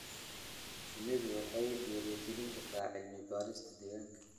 Shinnidu waxay dhiirigelin kartaa cilmi-baarista deegaanka.